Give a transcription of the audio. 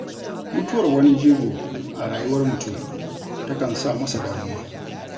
Mutuwar wani jigo a rayuwar mutun takan sa masa damuwa